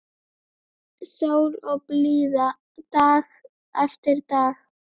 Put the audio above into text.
Sól og blíða dag eftir dag.